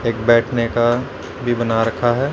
एक बैठने का भी बना रखा है।